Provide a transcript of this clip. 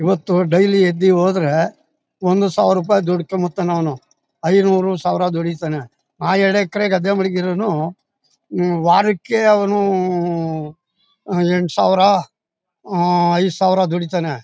ಇವತ್ತು ಡೈಲಿ ಎದ್ದಿ ಹೋದ್ರೆ ಒಂದು ಸಾವಿರ ರೂಪಾಯಿ ದುಡ್ಕೊಂಡು ಬರ್ತಾನೆ ಅವ್ನು ಐನೂರು ಸಾವಿರ ದುಡೀತಾನೆ ಆ ಎರಡೆಕರೆ ಗದ್ದೆ ಮಡಗಿರೋನು ಹ್ಮ್ ವಾರಕ್ಕೆ ಅವನು ಉ ಉ ಎಂಟು ಸಾವಿರ ಆ ಐದು ಸಾವಿರ ದುಡೀತಾನೆ.